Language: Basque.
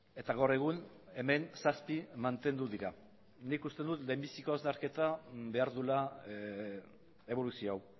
eta gaur egun hemen zazpi mantendu dira nik uste dut lehenbiziko hausnarketa behar duela eboluzio hau